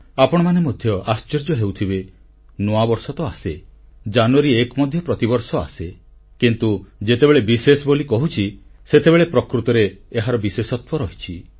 ଆପଣମାନେ ମଧ୍ୟ ଆଶ୍ଚର୍ଯ୍ୟ ହେଉଥିବେ ନୂଆବର୍ଷ ତ ଆସେ ଜାନୁୟାରୀ 1 ମଧ୍ୟ ପ୍ରତିବର୍ଷ ଆସେ କିନ୍ତୁ ଯେତେବେଳେ ବିଶେଷ ବୋଲି କହୁଛି ସେତେବେଳେ ପ୍ରକୃତରେ ଏହାର ବିଶେଷତ୍ୱ ରହିଛି